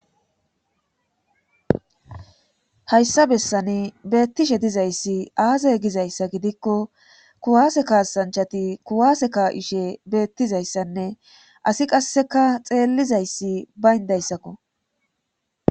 Hayssa bessani beettishe diza issi aaza giza ssai giddikko; kuwaase kaasanchati kuwaase ka'ishe beettiza issanne asi qasseka xeelliza issi bayinda issakko.